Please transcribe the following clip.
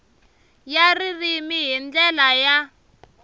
ya ririmi hi ndlela ya